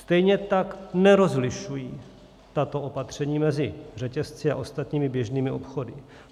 Stejně tak nerozlišují tato opatření mezi řetězci a ostatními běžnými obchody.